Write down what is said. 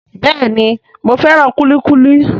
Bẹ́ẹ̀ni, mo fẹ́ràn kúlíkúlí